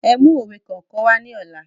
Ẹ mú òwe kọ̀ọ̀kan wá ní ọ̀la